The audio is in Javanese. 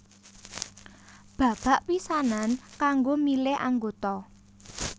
Babak pisanan kanggo milih anggota